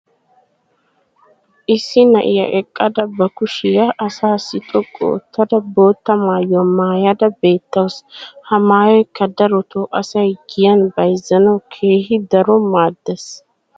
issi na'iya eqqada ba kushiya asaassi xoqqu oottada bootta maayuwa maayada beetawusu. ha maayoykka darotoo asay giyan bayzzanawu keehi daro maadees.